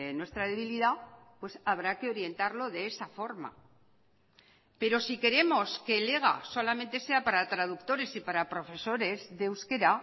nuestra debilidad pues habrá que orientarlo de esa forma pero si queremos que el ega solamente sea para traductores y para profesores de euskera